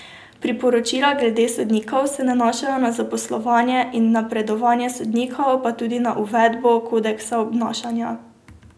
Priporočila glede sodnikov se nanašajo na zaposlovanje in napredovanje sodnikov, pa tudi na uvedbo kodeksa obnašanja.